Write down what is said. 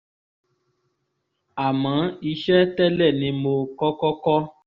àmọ́ iṣẹ́ tẹ́lẹ̀ ni mo kọ́kọ́ kọ́